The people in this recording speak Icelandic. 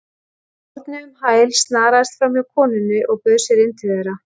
Árni um hæl, snaraðist framhjá konunni og bauð sér inn til þeirra.